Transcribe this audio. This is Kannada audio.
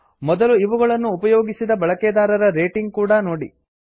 ಮೊದಲು ಇವುಗಳನ್ನು ಉಪಯೋಗಿಸಿದ ಬಳಕೆದಾರರ ರೇಟಿಂಗ್ ಕೂಡಾ ನೋಡಿ